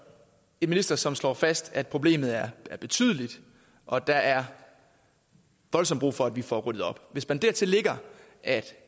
en minister som slår fast at problemet er betydeligt og at der er voldsomt brug for at vi får ryddet op hvis man dertil lægger at